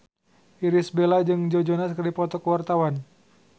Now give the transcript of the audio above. Irish Bella jeung Joe Jonas keur dipoto ku wartawan